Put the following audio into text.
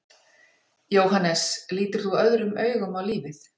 Jóhannes: Lítur þú öðrum augum á lífið?